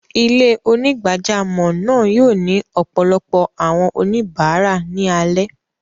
Ilẹ̀-onígbàjàmọ́ náà yóò ni ọpọlọpọ̀ awọn oníbarà ni alẹ.